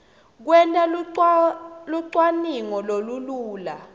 kwenta lucwaningo lolulula